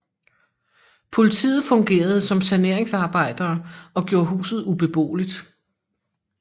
Politiet fungerede som saneringsarbejdere og gjorde huset ubeboeligt